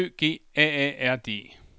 S Ø G A A R D